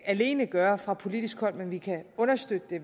alene gøre fra politisk hold men vi kan understøtte det